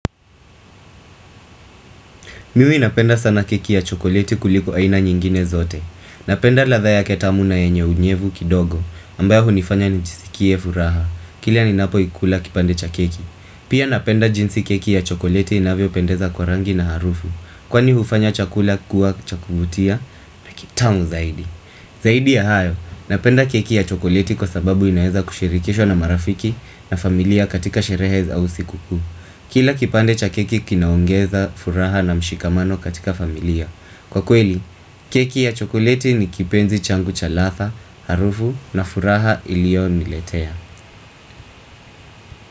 Mimi napenda sana keki ya chokolieti kuliko aina nyingine zote. Napenda ladha yake tamu na yenye unyevu kidogo ambayo hunifanya njisikie furaha. Kilea ninapo ikula kipande cha keki. Pia napenda jinsi keki ya chokolieti inavyopendeza kwa rangi na harufu. Kwani hufanya chakula kuwa cha kuvutia na kitamu zaidi. Zaidi ya hayo, napenda keki ya chokoleti kwa sababu inaeza kushirikishwa na marafiki na familia katika sherehe za usiku kuu. Kila kipande cha keki kinaongeza furaha na mshikamano katika familia. Kwa kweli, keki ya chokolieti ni kipenzi changu cha ladha, harufu na furaha ilio niletea.